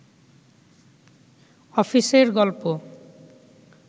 অফিসের গল্প